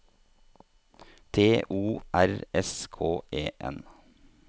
T O R S K E N